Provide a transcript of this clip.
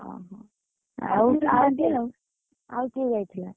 ଓହୋ, ଆଉ କିଏ ଯାଇଥିଲା?